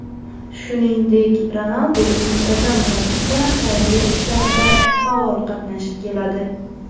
Shuningdek, Ronaldu muntazam ravishda xayriya ishlarida faol qatnashib keladi.